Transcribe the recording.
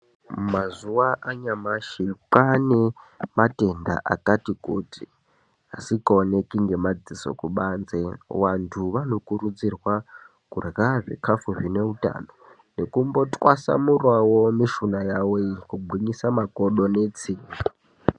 Mazuwa anyamashi kwaane matenda akati kuti asikaoneki ngemadziso kubanze vanthu vanokurudzirwa kurhya zvine utano nekumbotwasanurawo mishuna yawo iyi kugwinyisa makodo netsinga.